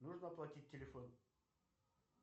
нужно оплатить телефон